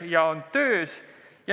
Need asjad on töös.